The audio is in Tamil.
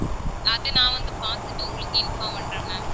அது நான் வந்து பார்த்துட்டு உங்களுக்கு inform பண்றேன் ma'am.